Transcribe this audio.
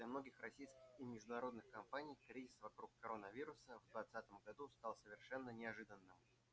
для многих российских и международных компаний кризис вокруг коронавируса в двадцатом году стал совершенно неожиданным